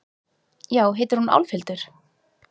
Já, heitir hún Álfhildur?